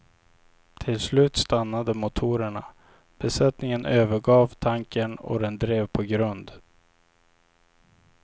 Till slut stannade motorerna, besättningen övergav tankern och den drev på grund.